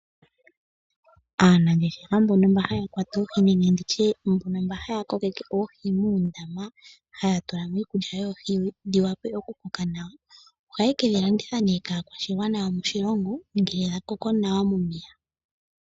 Aanangeshefa mbono mba haya kwata oohi nenge ndi tye mbono mba ha ya kokeke oohi moondama, ha ya tula mo iikulya yoohi dhiwape oku koka nawa ohayekedhi landitha nee kaakwashigwana yo moshilongo ngele dha koko nawa momeya.